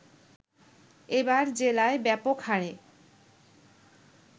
এবার জেলায় ব্যাপক হারে